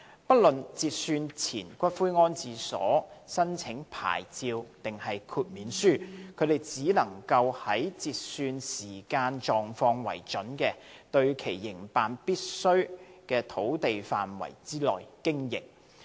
不論截算前骨灰安置所申請牌照還是豁免書，它們只能在以截算時間狀況為準的、對其營辦屬必需的土地範圍內經營。